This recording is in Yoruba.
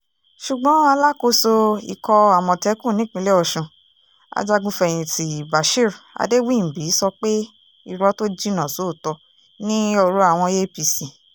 ṣùgbọ́n alákòóso ikọ̀ àmọ̀tẹ́kùn nípínlẹ̀ ọ̀sùn ajagun-fẹ̀yìntì bashir adéwìnbí sọ pé irọ́ tó jinná sóòótọ́ ni ọ̀rọ̀ àwọn apc